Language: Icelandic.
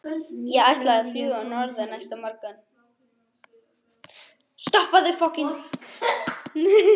Ég ætlaði að fljúga norður næsta morgun.